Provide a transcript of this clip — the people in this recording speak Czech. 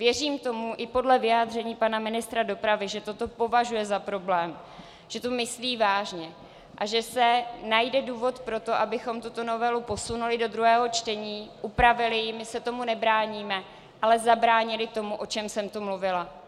Věřím tomu i podle vyjádření pana ministra dopravy, že toto považuje za problém, že to myslí vážně, a že se najde důvod pro to, abychom tuto novelu posunuli do druhého čtení, upravili ji, my se tomu nebráníme, ale zabránili tomu, o čem jsem tu mluvila.